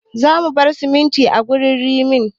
Za mu bar simintin a gurin ginnin